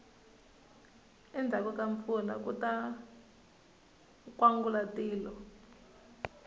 endzhaku ka mpfula kuta nkwangulatilo